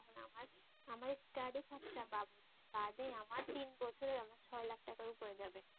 আমার স্টাডি খরচা বাবাদে আমার তিন বছরে আমার ছয় লাখ টাকার উপরে যাবে